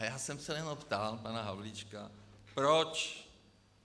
A já jsem se jenom ptal pana Havlíčka proč.